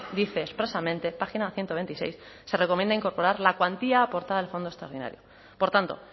dice expresamente página ciento veintiséis se recomienda incorporar la cuantía aportada al fondo extraordinario por tanto